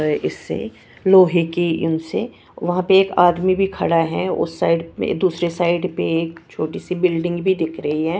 व इससे लोहे की उनसे वहां पे एक आदमी भी खड़ा हैं उस साइड पे दूसरे साइड पे एक छोटी सी बिल्डिंग भी दिख रही हैं।